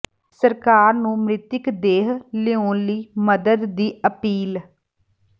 ਸਰਕਾਰ ਨੂੰ ਮ੍ਰਿਤਕ ਦੇਹ ਲਿਆਉਣ ਲਈ ਮਦਦ ਦੀ ਅਪੀਲ